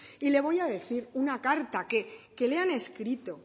y le voy a decir una carta que le han escrito